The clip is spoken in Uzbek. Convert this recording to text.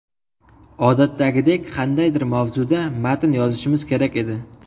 Odatdagidek, qandaydir mavzuda matn yozishimiz kerak edi.